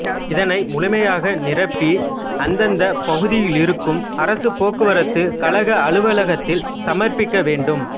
இதனை முழுமையாக நிரப்பி அந்தந்த பகுதியிலிருக்கும் அரசுப் போக்குவரத்துக் கழக அலுவலகத்தில் சமர்ப்பிக்க வேண்டும்